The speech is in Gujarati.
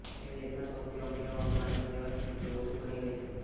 તે દેશના સૌથી અમીર એવા અંબાણી પરિવારની પુત્રવધૂ બની ગઈ છે